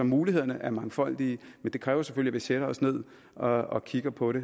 mulighederne er mangfoldige men det kræver selvfølgelig sætter os ned og kigger på det